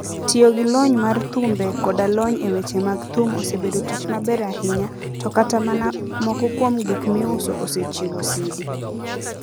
Tiyo gi lony mar thumbe koda lony e weche mag thum osebedo tich maber ahinya, to kata mana moko kuom gik miuso osechiwo CD.